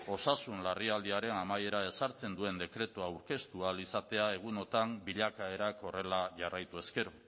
osasun larrialdiaren amaiera ezartzen duen dekretua aurkeztu ahal izatea egunotan bilakaerak horrela jarraitu ezkero